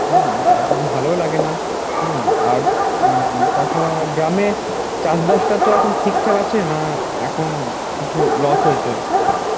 তো এখন ভালোও লাগে না. হ্যাঁ, উম আর তাছাড়া গ্রামে চাষবাসটা তো এখন ঠিকঠাক আছে, না এখন কিছু loss হয়েছে.